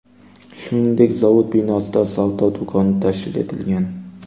Shuningdek, zavod binosida savdo do‘koni tashkil etilgan.